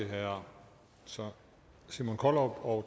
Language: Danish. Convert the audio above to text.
herre simon kollerup og